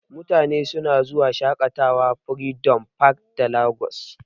Mutane suna zuwa shaƙatawa a freedom park ta Lagos.